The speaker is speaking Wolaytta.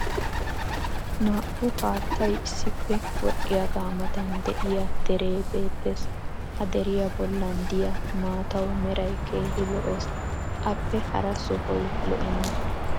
Naa'u haattay issippe wodhiyaaga matan diya deree beettees. Ha deriya bollan diya maataw meray keehi lo'ees. Appe hara sohoy lo'enna.